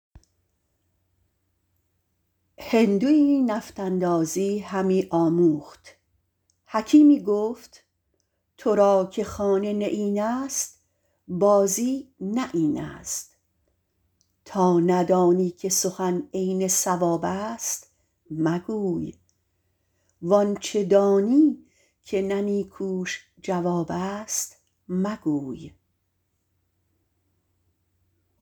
هندویی نفط اندازی همی آموخت حکیمی گفت تو را که خانه نیین است بازی نه این است تا ندانی که سخن عین صواب است مگوی وآنچه دانی که نه نیکوش جواب است مگوی